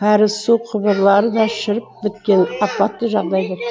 кәріз су құбырлары да шіріп біткен апатты жағдайда